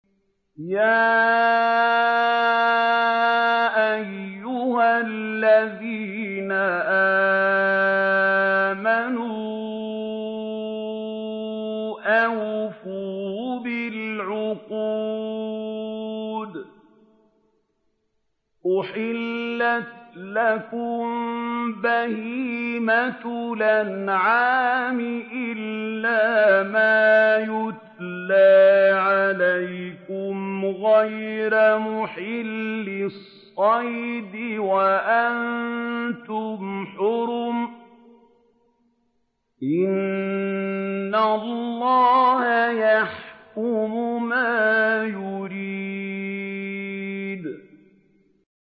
يَا أَيُّهَا الَّذِينَ آمَنُوا أَوْفُوا بِالْعُقُودِ ۚ أُحِلَّتْ لَكُم بَهِيمَةُ الْأَنْعَامِ إِلَّا مَا يُتْلَىٰ عَلَيْكُمْ غَيْرَ مُحِلِّي الصَّيْدِ وَأَنتُمْ حُرُمٌ ۗ إِنَّ اللَّهَ يَحْكُمُ مَا يُرِيدُ